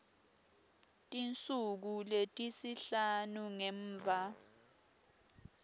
tinsuku letisihlanu ngemva